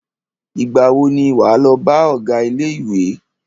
Ìgbà wo ni wà á lọ bá ọgá ilé ìwé?